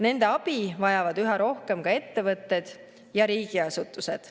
Nende abi vajavad üha rohkem ka ettevõtted ja riigiasutused.